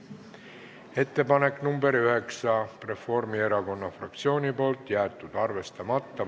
Ettepanek nr 9, esitanud Reformierakonna fraktsioon, jäetud arvestamata.